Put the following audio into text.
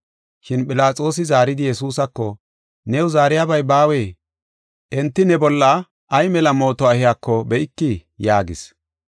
Shin Philaxoosi zaaridi Yesuusako, “New zaariyabay baawee? Enti ne bolla ay mela mootuwa ehiyako be7ikii?” yaagis.